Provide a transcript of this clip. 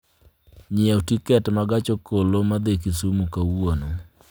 Nyiew tiket ma gach okoloma dhi Kisumu kawuono